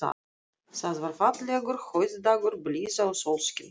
Það var fallegur haustdagur, blíða og sólskin.